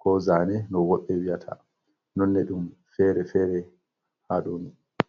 ko zane, no woɓɓe wiyata nonne ɗum fere-fere ha ɗo ni.